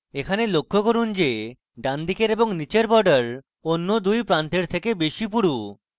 এখানে লক্ষ্য করুন যে ডানদিকের এবং নীচের border অন্য দুই প্রান্তের চেয়ে বেশী পুরু